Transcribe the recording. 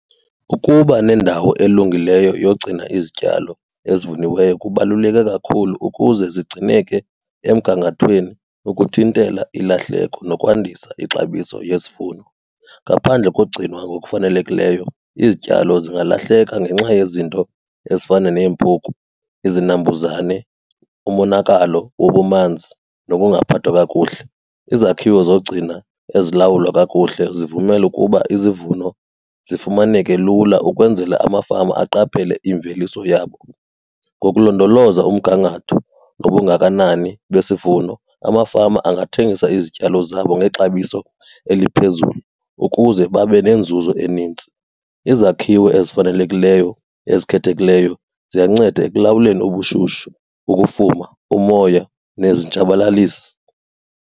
Ukuba nendawo elungileyo yogcina izityalo ezivuniweyo kubaluleke kakhulu ukuze zigcineke emgangathweni ukuthintela ilahleko nokwandisa ixabiso yesivuno. Ngaphandle kogcinwa ngokufanelekileyo izityalo zingalahleka ngenxa yezinto ezifana neempuku, izinambuzane, umonakalo wobumanzi nokungaphathwa kakuhle. Izakhiwo zogcina ezilawulwa kakuhle zivumela ukuba izivuno zifumaneke lula ukwenzela amafama aqaphele imveliso yabo. Ngokulondoloza umgangatho nobungakanani besivuno, amafama angathengisa izityalo zabo ngexabiso eliphezulu ukuze babe nenzuzo enintsi. Izakhiwo ezifanelekileyo, ezikhethekileyo, ziyanceda ekulawuleni ubushushu, ukufuma, umoya nezitshabalalisi.